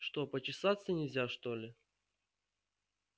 что почесаться нельзя что ли